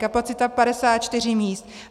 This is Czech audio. Kapacita 54 míst.